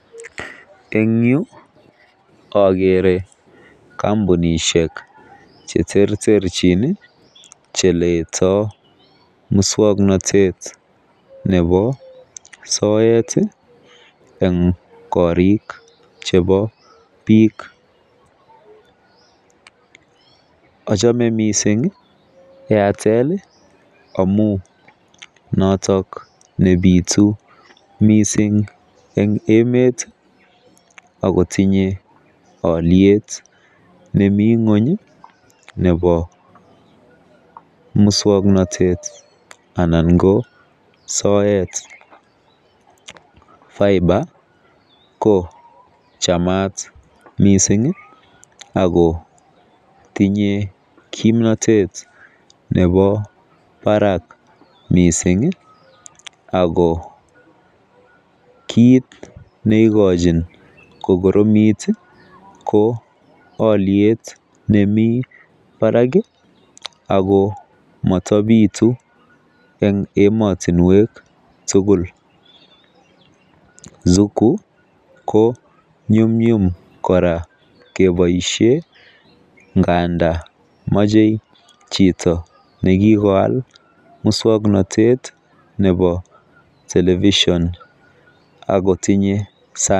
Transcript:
En yuu okere komounishek cheterterchin nii cheletoo muswoknotet nebo soeti en korik chebo , ochome missing Airtel amun noton nepitu missing en emet ak kotinye oliet nemii ngweny nebo muswoknotet ananko soet fiber ko chamat missingi Ako tinye kimnotet nebo barak missing ako kit neikochin kikoromit ko oliet nemii barak kii ako motopitu en emotunwek tukul. Suku ko nyumnyum koraa keboishen ngandan moche chito nekikoal muswoknotet nebo television ak kotinye saa.